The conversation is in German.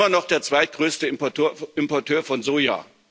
Wir sind immer noch der zweitgrößte Importeur von Soja.